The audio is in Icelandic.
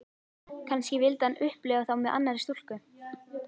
Kannski vildi hann upplifa þá með annarri stúlku.